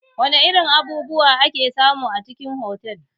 Wana irin abubuwa ake samu a cikin otal?